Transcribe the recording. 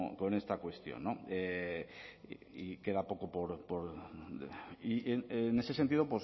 con esta cuestión en ese sentido